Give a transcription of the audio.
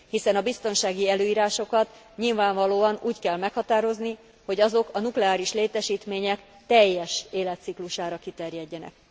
Hiszen a biztonsági előírásokat nyilvánvalóan úgy kell meghatározni, hogy azok a nukleáris létesítmények teljes életciklusára kiterjedjenek.